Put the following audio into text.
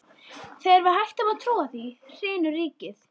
Þegar við hættum að trúa því, hrynur ríkið!